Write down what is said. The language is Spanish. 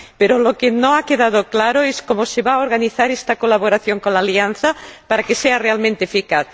Pero lo que no ha quedado claro es cómo se va a organizar esta colaboración con la Alianza para que sea realmente eficaz.